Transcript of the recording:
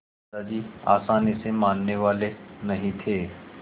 दादाजी आसानी से मानने वाले नहीं थे